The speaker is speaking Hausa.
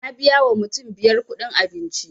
Na biya wa mutum biyar kuɗin abinci